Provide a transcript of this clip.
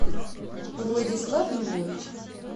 владислав львович